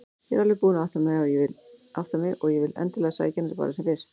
Ég er alveg búin að átta mig og vil endilega sækja hana bara sem fyrst.